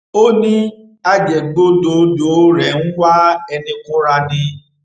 ó ní ajẹgbẹdọdọ rẹ ń wá ẹni kúnra ni